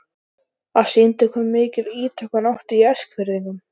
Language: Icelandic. Það sýndi hve mikil ítök hún átti í Eskfirðingum.